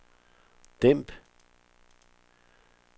dæmp